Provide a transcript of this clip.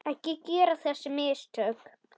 Ekki gera þessi mistök.